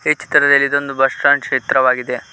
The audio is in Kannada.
ಚಿತ್ರದಲ್ಲಿ ಇದೊಂದು ಬಸ್ ಸ್ಟಾಂಡ್ ಚೀತ್ರವಾಗಿದೆ.